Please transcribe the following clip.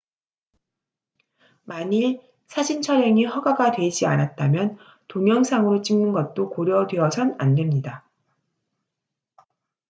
만일 사진 촬영이 허가가 되지 않았다면 동영상으로 찍는 것도 고려되어선 안됩니다